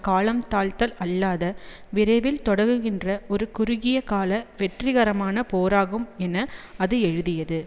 காலம் தாழ்த்தல் அல்லாத விரைவில் தொடங்குகின்ற ஒரு குறுகியகால வெற்றிகரமான போராகும் என அது எழுதியது